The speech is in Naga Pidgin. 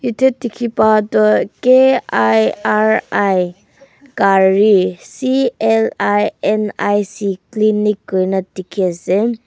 itia dikhi pa toh kiri clinic clinic kurina dikhi ase.